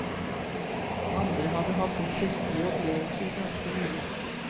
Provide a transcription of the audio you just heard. Andre hadde hatt en festlig opplevelse ganske nylig.